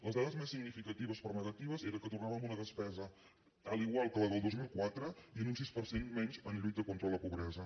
les dades més significatives per negatives eren que tornàvem a una despesa igual que la del dos mil quatre i a un sis per cent menys en lluita contra la pobresa